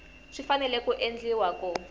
swi fanele ku endliwa ku